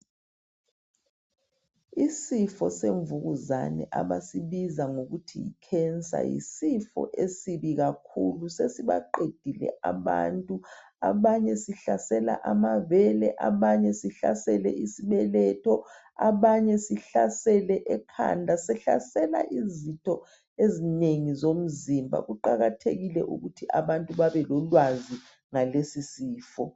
Isifo semvukuzane abasibiza ngokuthi yicancer, yisifo esibi kakhulu! Sesibaqedile abantu. Abanye sihlasela amabele, abanye sihlasele isibeletho, abanye sihlasele ekhanda. Sihlasela izitho ezinengi zomzimba. Kuqakathekile ukuthi abantu babe lolwazi ngalesisifo.